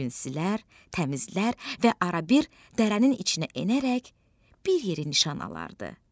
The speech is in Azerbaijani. Hər gün silər, təmizlər və arabir dərənin içinə enərək bir yerə nişan alırdı.